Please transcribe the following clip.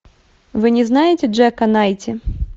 вы не знаете джека найти